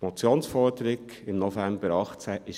Die Motionsforderung im November 2018 war: